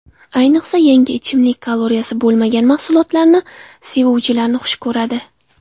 Ayniqsa, yangi ichimlik kaloriyasi bo‘lmagan mahsulotlarni sevuvchilarni xush ko‘radi.